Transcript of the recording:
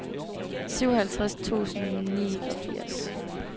syvoghalvtreds tusind og niogfirs